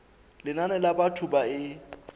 lenane la batho ba e